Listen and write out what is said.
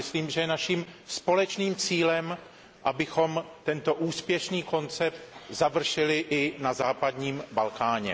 Myslím, že je naším společným cílem, abychom tento úspěšný koncept završili i na západním Balkáně.